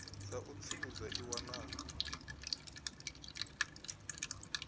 dza u tsivhudza i wanala